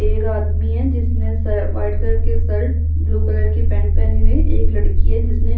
एक आदमी है जिसने वाइट कलर के शर्ट ब्लू कलर की पेंट पहनी हुई है एक लड़की है जिसने --